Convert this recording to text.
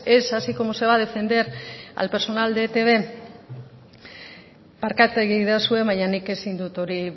es así como se va a defender al personal de etb barkatu egin iezadazue baina nik ezin dut hori